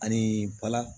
Anii bala